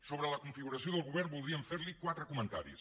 sobre la configuració del govern voldríem fer li quatre comentaris